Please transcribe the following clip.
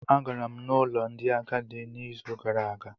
Agara m n'ụlọ ndị agadi n'izu gara aga